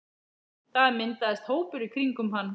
Það myndaðist hópur í kringum hann.